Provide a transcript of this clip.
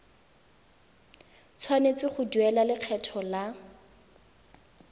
tshwanetse go duela lekgetho la